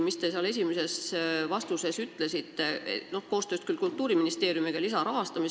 Te oma esimeses vastuses ütlesite, et koostöös Kultuuriministeeriumiga arutatakse ETV+ lisarahastamist.